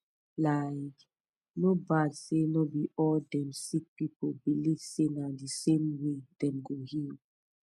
likee no bad say no be all dem sick pipu believe say na the same way dem go heal